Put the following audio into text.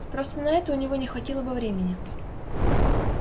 просто на это у него не хватило бы времени